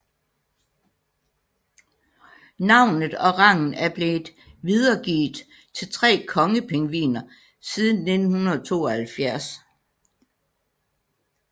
Navnet og rangen er blevet videregivet til tre kongepingviner siden 1972